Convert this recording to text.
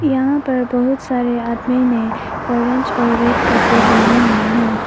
यहां पर बहुत सारे आदमी ने ऑरेंज और रेड कपड़े पहने हुवे हैं।